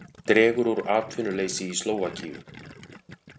Dregur úr atvinnuleysi í Slóvakíu